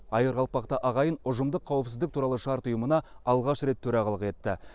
айыр қалпақты ағайын ұжымдық қауіпсіздік туралы шарт ұйымына алғаш рет төрағалық етті